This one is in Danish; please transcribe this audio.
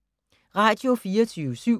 Radio24syv